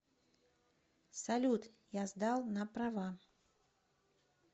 салют я сдал на права